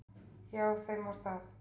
Já, þeim var það.